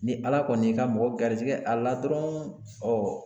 Ni Ala kɔni y'i ka mɔgɔ garisɛgɛ a la dɔrɔn ɔ